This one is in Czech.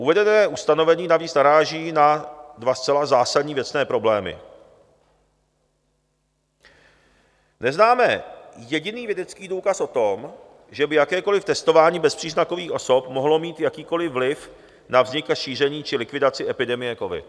Uvedené ustanovení navíc naráží na dva zcela zásadní věcné problémy: neznáme jediný vědecký důkaz o tom, že by jakékoliv testování bezpříznakových osob mohlo mít jakýkoliv vliv na vznik a šíření či likvidaci epidemie covid;